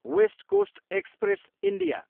West coast express, India